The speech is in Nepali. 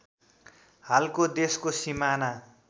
हालको देशको सिमाना